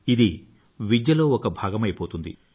ఇది విద్యలో ఒక భాగమైపోతుంది